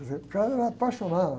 Quer dizer, o cara era apaixonado.